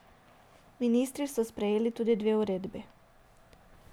Ministri so sprejeli tudi dve uredbi.